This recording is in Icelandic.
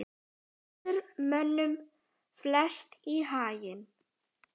fellur mönnum flest í haginn